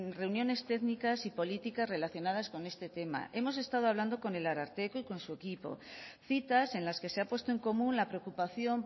reuniones técnicas y políticas relacionadas con este tema hemos estado hablando con el ararteko y con su equipo citas en las que se ha puesto en común la preocupación